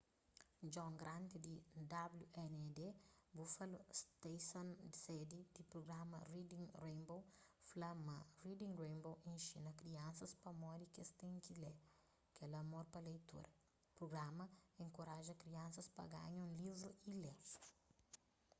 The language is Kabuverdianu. john grant di wned buffalo stason sedi di prugrama reading rainbow fla ma reading rainbow inxina kriansas pamodi ki es ten ki lê,... kel amor pa leitura - [prugrama] enkoraja kriansas pa panha un livru y lê.